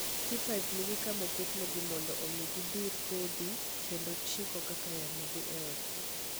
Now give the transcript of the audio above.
Skep Hive nigi kama oketnegi mondo omi gidhir kodhi kendo chiko kaka yamo dhi e odgi.